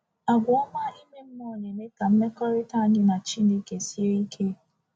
Àgwà ọma ime mmụọ na-eme ka mmekọrịta anyị na Chineke sie ike.